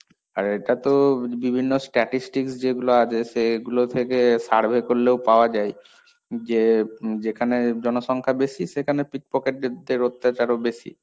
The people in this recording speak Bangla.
আর এটা তো বিভিন্ন statistics যেগুলো আছে, সেগুলো থেকে survey করলেও পাওয়া যায়, যে যেখানে জনসংখ্যা বেশি সেখানে pickpocket দের অত্যাচারও বেশি।